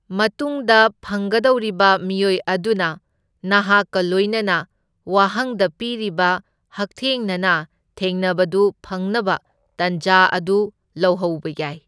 ꯃꯇꯨꯡꯗ ꯐꯪꯒꯗꯧꯔꯤꯕ ꯃꯤꯑꯣꯏ ꯑꯗꯨꯅ ꯅꯍꯥꯛꯀ ꯂꯏꯅꯅ ꯋꯥꯍꯪꯗ ꯄꯤꯔꯤꯕ ꯍꯛꯊꯦꯡꯅꯅ ꯊꯦꯡꯅꯕꯗꯨ ꯐꯪꯅꯕ ꯇꯥꯟꯖꯥ ꯑꯗꯨ ꯂꯧꯍꯧꯕ ꯌꯥꯏ꯫